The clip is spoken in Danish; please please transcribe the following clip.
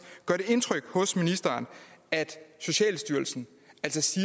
gør det indtryk på ministeren at socialstyrelsen altså siger